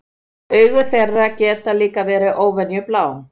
Augu þeirra geta líka verið óvenju blá.